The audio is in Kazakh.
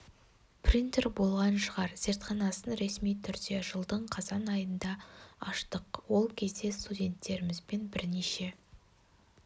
принтер болған шығар зертханасын ресми түрде жылдың қазан айында аштық ол кезде студенттерімізбен бірнеше